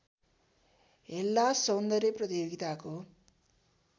हेल्लास सौन्दर्य प्रतियोगिताको